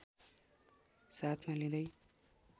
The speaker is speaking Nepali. साथमा लिँदै